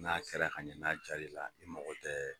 N'a kɛra ka ɲɛ, n'a jari la, i mako tɛ.